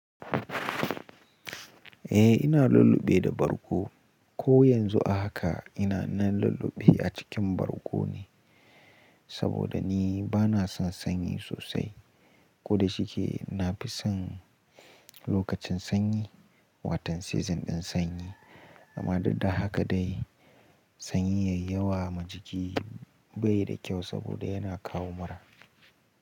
Eh ina lulluɓe da bargo. Ko yanzu haka ina nan lulluɓe a cikin bargo ne, saboda ni bana son sanyi sosai. Ko da shike na fi son lokacin sanyi, wa ton season ɗin sanyi, amma duk da haka dai sanyi yayi ma jiki, bai da kyau saboda yana kawo mura.